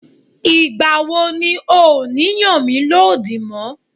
Ìgbà wo ni ọ ní yàn mí lódì mọ́?